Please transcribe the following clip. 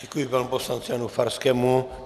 Děkuji panu poslanci Janu Farskému.